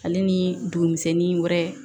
Ale ni dugumisɛnnin wɛrɛ